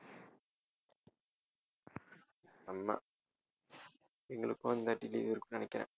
செம்ம எங்களுக்கும் இந்த வாட்டி leave இருக்கும்னு நினைக்கிறன்